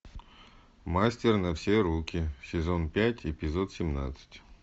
мастер на все руки сезон пять эпизод семнадцать